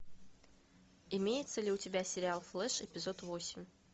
имеется ли у тебя сериал флеш эпизод восемь